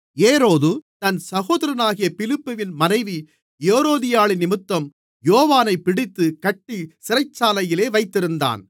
ஏரோது தன் சகோதரனாகிய பிலிப்புவின் மனைவி ஏரோதியாளினிமித்தம் யோவானைப் பிடித்துக் கட்டி சிறைச்சாலையில் வைத்திருந்தான்